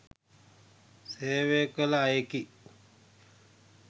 සේවය කළ අයෙකි